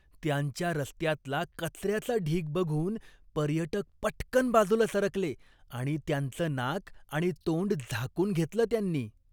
त्यांच्या रस्त्यातला कचऱ्याचा ढीग बघून पर्यटक पटकन बाजूला सरकले आणि त्यांचं नाक आणि तोंड झाकून घेतलं त्यांनी.